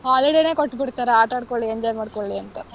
Holiday ನೇ ಕೊಟ್ಬಿಡ್ತಾರೆ. ಆಟಾಡ್ಕೊಳ್ಲಿ, enjoy ಮಾಡ್ಕೊಳ್ಲಿ ಅಂತ.